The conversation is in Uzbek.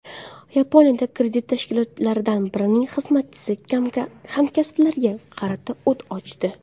Yaponiyada kredit tashkilotlaridan birining xizmatchisi hamkasblariga qarata o‘t ochdi.